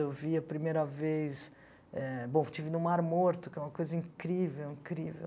Eu vi a primeira vez eh... Bom, eu estive no Mar Morto, que é uma coisa incrível, incrível.